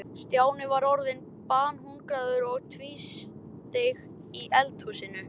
Stjáni var orðinn banhungraður og tvísteig í eldhúsinu.